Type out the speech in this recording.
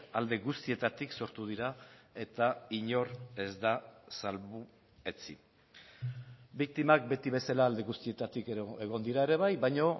alde guztietatik sortu dira eta inor ez da salbuetsi biktimak beti bezala alde guztietatik egon dira ere bai baino